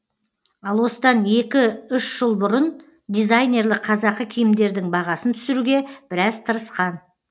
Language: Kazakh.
ал осыдан екі үш жыл бұрын дизайнерлік қазақы киімдердің бағасын түсіруге біраз тырысқан